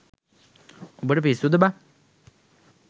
උඹට පිස්සුද බං.